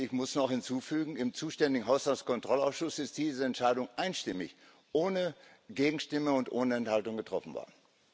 Ich muss noch hinzufügen Im zuständigen Haushaltskontrollausschuss ist diese Entscheidung einstimmig ohne Gegenstimme und ohne Enthaltung getroffen worden.